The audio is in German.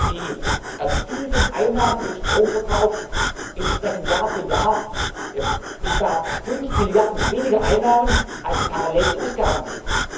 angehäuft. Die erzielten Einnahmen aus dem Stromverkauf entsprechen Jahr für Jahr etwa 5 Mrd. weniger Einnahmen, als parallel die Ausgaben